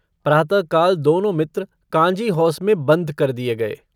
प्रातःकाल दोनों मित्र काँजीहौस में बन्द कर दिए गए।